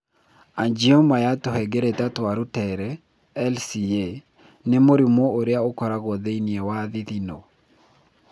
Angioma ya tũhengereta twa rũtere (LCA) nĩ mũrimũ ũrĩa ũkoragwo thĩinĩ wa thithino.